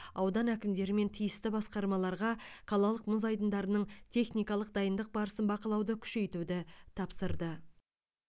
аудан әкімдері мен тиісті басқармаларға қалалық мұз айдындарының техникалық дайындық барысын бақылауды күшейтуді тапсырды